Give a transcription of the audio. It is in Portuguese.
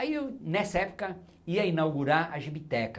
Aí eu, nessa época, ia inaugurar a Gibiteca.